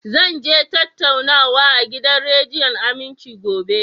Zan je tattaunawa a gidan rediyon Aminci, gobe